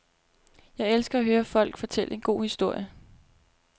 Jeg elsker at høre folk fortælle en god historie.